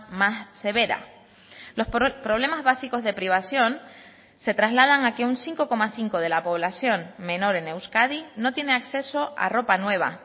más severa los problemas básicos de privación se trasladan a que un cinco coma cinco de la población menor en euskadi no tiene acceso a ropa nueva